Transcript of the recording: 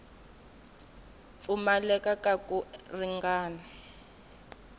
pfumaleka ka ku ringana eka